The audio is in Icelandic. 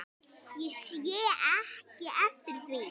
Ég sé ekki eftir því.